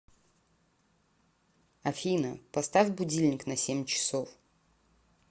афина поставь будильник на семь часов